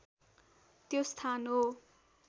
त्यो स्थान हो